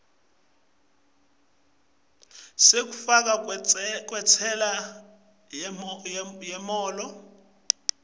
sekufakwa kwentsela yemholo